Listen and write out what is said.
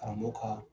Karamɔgɔ ka